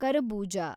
ಕರಬೂಜ